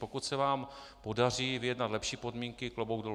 Pokud se vám podaří vyjednat lepší podmínky, klobouk dolů.